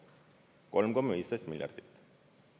3,15 miljardit!